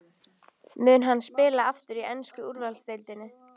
Mun hann spila aftur í ensku úrvalsdeildinni?